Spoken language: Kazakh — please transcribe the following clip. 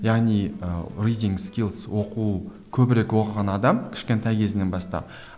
яғни ы оқу көбірек оқыған адам кішкентай кезінен бастап